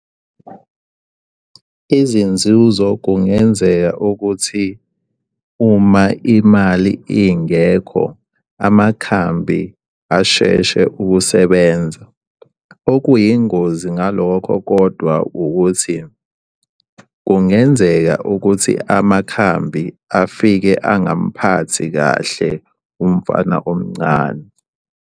Izinzuzo kungenzeka ukuthi uma imali ingekho amakhambi asheshe ukusebenza. Okuyingozi ngalokho kodwa ukuthi kungenzeka ukuthi amakhambi afike angamphathi kahle umfana omncane.